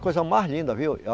Coisa mais linda, viu?